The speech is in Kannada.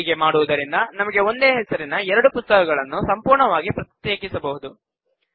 ಹೀಗೆ ಮಾಡುವುದರಿಂದ ನಮಗೆ ಒಂದೇ ಹೆಸರಿನ ಎರಡು ಪುಸ್ತಕಗಳನ್ನು ಸಂಪೂರ್ಣವಾಗಿ ಪ್ರತ್ಯೇಕಿಸಬಹುದು